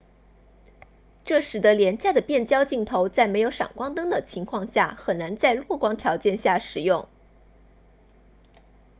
这使得廉价的变焦镜头在没有闪光灯的情况下很难在弱光条件下使用